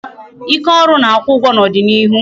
Ike oru na-akwụ ụgwọ n'ọdịnịihu